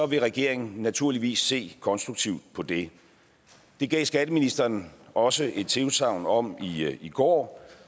vil regeringen naturligvis se konstruktivt på det det gav skatteministeren også et tilsagn om i går